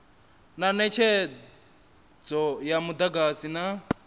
na netshedzo ya mudagasi na